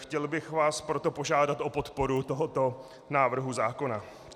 Chtěl bych vás proto požádat o podporu tohoto návrhu zákona.